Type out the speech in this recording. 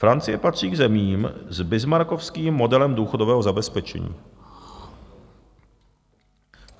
Francie patří k zemím s bismarckovským modelem důchodového zabezpečení.